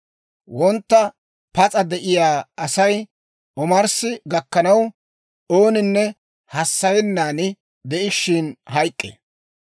Wontta pas'a de'iyaa Asay omarssi gakkanaw, ooninne hassayennan de'ishiina hayk'k'ee.